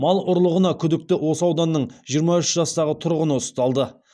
мал ұрлығына күдікті осы ауданының жиырма үш жастағы тұрғыны ұсталды